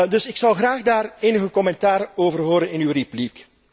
Dus ik zou graag daar enig commentaar over horen in uw repliek.